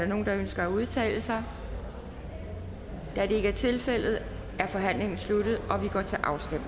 nogen der ønsker at udtale sig da det ikke er tilfældet er forhandlingen sluttet